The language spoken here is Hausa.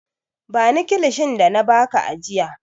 Ban kilishin da na ba ka ajiya!